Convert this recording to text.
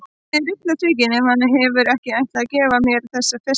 Ég er illa svikin ef hann hefur ekki ætlað að gefa mér þessa festi.